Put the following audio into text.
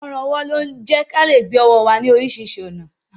Ọrùn ọwọ́ ń jẹ́ kí á lè gbé ọwọ́ wa ní oríṣiríṣi ọ̀nà